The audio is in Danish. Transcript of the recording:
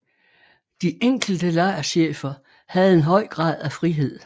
De enkelte lejrchefer havde en høj grad af frihed